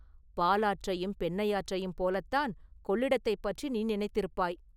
“பாலாற்றையும் பெண்ணையாற்றையும் போலத்தான் கொள்ளிடத்தைப் பற்றி நீ நினைத்திருப்பாய்.